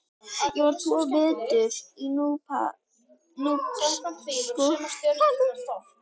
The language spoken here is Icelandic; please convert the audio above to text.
Ég var tvo vetur í Núpsskóla.